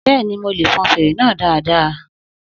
Bẹ́ẹ̀ni, mo lè fọn fèrè náà dáadáa